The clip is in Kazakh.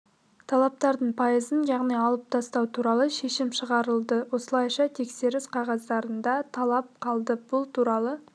талаптардың пайызын яғни алып тастау туралы шешім шығарылды осылайша тексеріс қағаздарында талап қалды бұл туралы